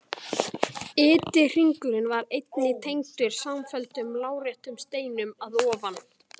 Ytri hringurinn var einnig tengdur samfelldum láréttum steinum að ofan.